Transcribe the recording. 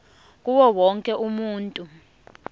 kuwo wonke umuntu